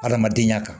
Adamadenya kan